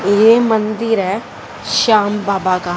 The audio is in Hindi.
ये मंदिर है श्याम बाबा का--